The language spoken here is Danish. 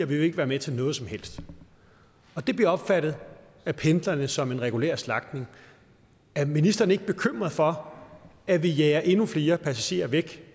vil ikke være med til noget som helst det bliver opfattet af pendlerne som en regulær slagtning er ministeren ikke bekymret for at vi jager endnu flere passagerer væk